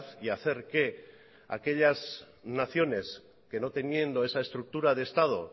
y hacer que aquellas naciones que no teniendo esa estructura de estado